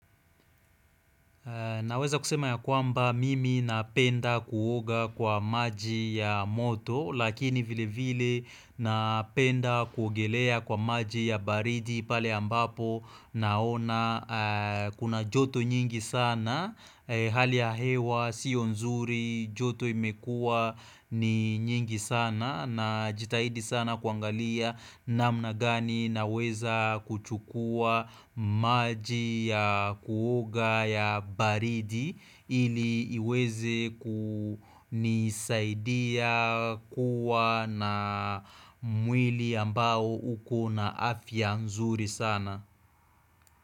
Naweza kusema ya kwamba mimi napenda kuoga kwa maji ya moto lakini vile vile napenda kuogelea kwa maji ya baridi pale ambapo naona kuna joto nyingi sana hali ya hewa sio nzuri joto imekuwa ni nyingi sana najitahidi sana kuangalia namna gani naweza kuchukua maji ya kuoga ya baridi ili iweze kunisaidia kuwa na mwili ambao ukona afya nzuri sana.